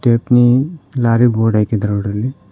Stepney lorry board ಹಾಕಿದ್ದಾರ ನೋಡ್ರಿ ಇಲ್ಲಿ.